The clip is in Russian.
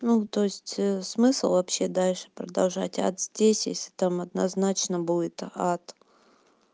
ну то есть смысл вообще дальше продолжать ад здесь если там однозначно будет ад